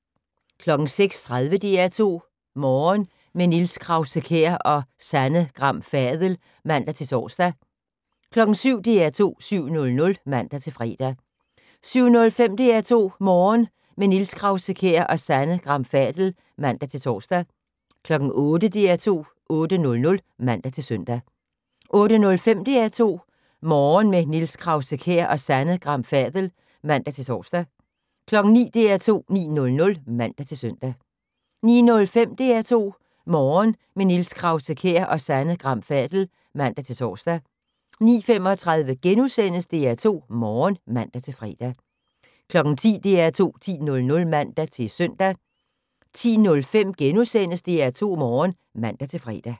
06:30: DR2 Morgen - med Niels Krause-Kjær og Sanne Gram Fadel (man-tor) 07:00: DR2 7:00 (man-fre) 07:05: DR2 Morgen - med Niels Krause-Kjær og Sanne Gram Fadel (man-tor) 08:00: DR2 8:00 (man-søn) 08:05: DR2 Morgen - med Niels Krause-Kjær og Sanne Gram Fadel (man-tor) 09:00: DR2 9:00 (man-søn) 09:05: DR2 Morgen - med Niels Krause-Kjær og Sanne Gram Fadel (man-tor) 09:35: DR2 Morgen *(man-fre) 10:00: DR2 10:00 (man-søn) 10:05: DR2 Morgen *(man-fre)